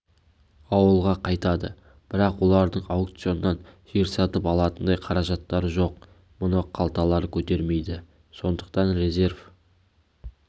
ауылға қайтады бірақ олардың аукционнан жер сатып алатындай қаражаттары жоқ мұны қалталары көтермейді сондықтан резерв